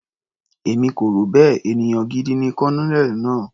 Èmi kò rò bẹ́ẹ̀, ènìyàn gidi ni Colonel náà.